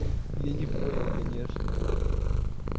я не понял конечно